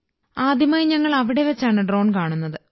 ആദ്യമായി ഞങ്ങൾ അവിടെ വച്ചാണ് ഡ്രോൺ കാണുന്നത്